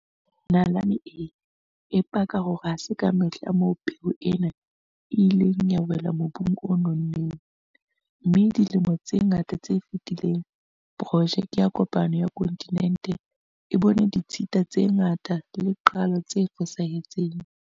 Nalane e paka hore ha se ka mehla moo peo ena e ileng ya wela mobung o nonneng, mme dilemong tse ngata tse fetileng, porojeke ya kopano ya kontinente e bone ditshita tse ngata le qalo tse fosahetseng.